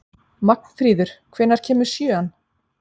Magnfríður, hvenær kemur sjöan?